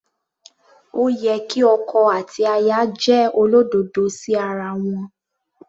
Ó yẹ kí ọkọ àti aya jẹ́ olódodo sí ara wọn.